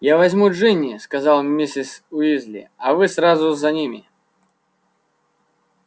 я возьму джинни сказала миссис уизли а вы сразу за ними